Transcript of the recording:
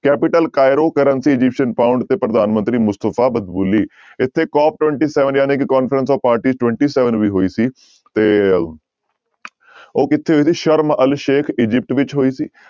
Capital Cairo currency Egyptian pound ਤੇ ਪ੍ਰਧਾਨ ਮੰਤਰੀ ਮੁਸਤਫ਼ਾ ਮਦਬੁਲੀ ਇੱਥੇ COP twenty seven ਜਾਣੀ ਕਿ conference of party twenty seven ਵੀ ਹੋਈ ਸੀ ਤੇ ਉਹ ਕਿੱਥੇ ਹੋਈ ਸੀ ਸਰਮ ਅਲ ਸੇਖ ਅਜਿਪਟ ਵਿੱਚ ਹੋਈ ਸੀ।